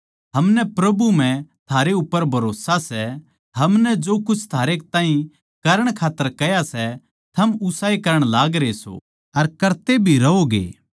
हमनै प्रभु म्ह थारै उप्पर भरोस्सा सै हमनै जो कुछ थारे ताहीं करण खात्तर कह्या सै थम उसाए करण लागरे सों अर करते भी रहोगे